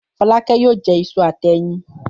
Fọlákẹ́ yóò jẹ iṣu àti ẹyin.